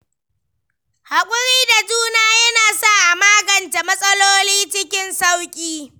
Haƙuri da juna yana sa a magance matsaloli cikin sauƙi.